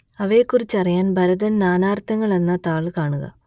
അവയെക്കുറിച്ചറിയാൻ ഭരതൻ നാനാർത്ഥങ്ങൾ എന്ന താൾ കാണുക